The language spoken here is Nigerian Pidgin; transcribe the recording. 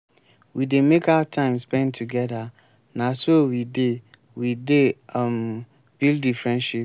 we dey make out time spend togeda na so we dey we dey um build di friendship.